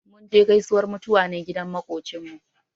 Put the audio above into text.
Mun je gaisuwar mutuwa ne gidan maƙocinmu.